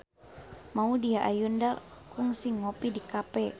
Maudy Ayunda kungsi ngopi di cafe